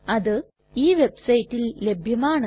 അത് ഈ വെബ്സൈറ്റിൽ ലഭ്യമാണ്